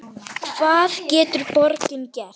Hvað getur borgin gert?